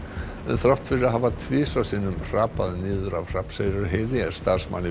þrátt fyrir að hafa tvisvar sinnum hrapað niður af Hrafnseyrarheiði er starfsmanni